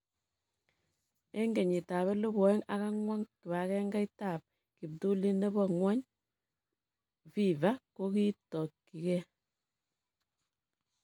"En kenyitab 2004, kibagengeit ab kiptulit nebo ng'wony, FIFA, kogitokyigei."